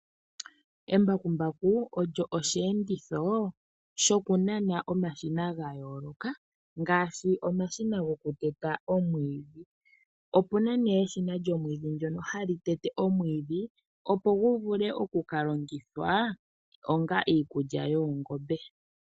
Embakumbaku olyo oshiyenditho shoku nana omashina ga yooloka ngaaashi omashina goku teta omwiidhi. Opena eshina lyomwiidhi ndono hali tete omwiidhi opo gu vule oku kalongithwa onga iikulya yoongombe.